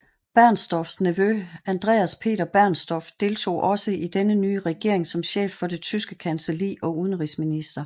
Bernstorffs nevø Andreas Peter Bernstorff deltog også i denne nye regering som chef for Tyske Kancelli og udenrigsminister